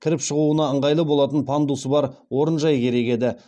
кіріп шығуына ыңғайлы болатын пандусы бар орынжай керек еді